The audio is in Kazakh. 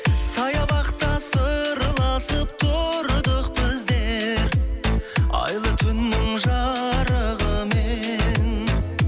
саябақта сырласып тұрдық біздер айлы түннің жарығымен